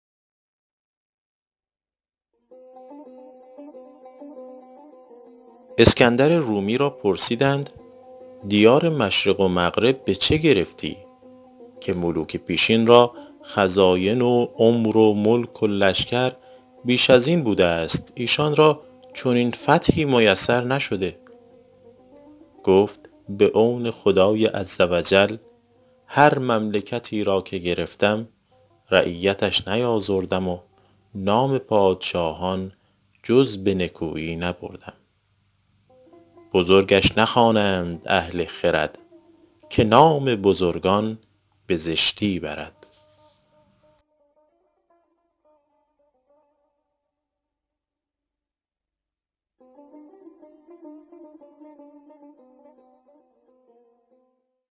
اسکندر رومی را پرسیدند دیار مشرق و مغرب به چه گرفتی که ملوک پیشین را خزاین و عمر و ملک و لشکر بیش از این بوده است ایشان را چنین فتحی میسر نشده گفتا به عون خدای عزوجل هر مملکتی را که گرفتم رعیتش نیآزردم و نام پادشاهان جز به نکویی نبردم بزرگش نخوانند اهل خرد که نام بزرگان به زشتی برد